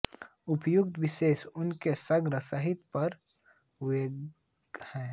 उपर्युक्त शोध उनके समग्र साहित्य पर हुये हैं